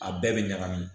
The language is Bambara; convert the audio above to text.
A bɛɛ bɛ ɲagami